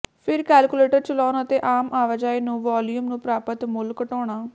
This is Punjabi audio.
ਫਿਰ ਕੈਲਕੁਲੇਟਰ ਚਲਾਉਣ ਅਤੇ ਆਮ ਆਵਾਜਾਈ ਨੂੰ ਵਾਲੀਅਮ ਨੂੰ ਪ੍ਰਾਪਤ ਮੁੱਲ ਘਟਾਉਣਾ